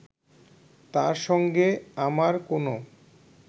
তার সঙ্গে আমার কোনো